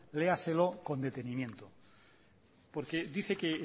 léaselo con detenimiento porque dice que